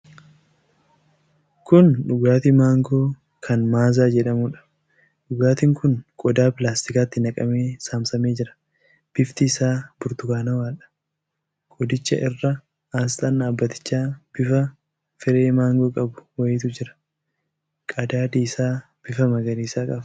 Kun dhugaatii Maangoo kan Maaza jedhamuudha. Dhugaatiin kun qodhaa pilaastikaatti naqamee saamsamee jira. bifti isaa burtukaanawaadha. Qodicha irra asxaan dhaabatichaa bifa firee maangoo qabu wayiitu jira. Qadaadi isaa bifa magariisa qaba.